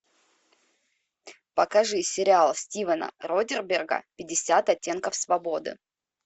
покажи сериал стивена содерберга пятьдесят оттенков свободы